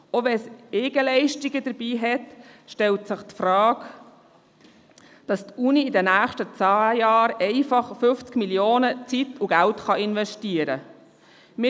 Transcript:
Selbst wenn Eigenleistungen dabei sind, stellt sich die Frage, wie die Universität in den nächsten zehn Jahren einfach Zeit und Geld von 50 Mio. Franken wird investieren können.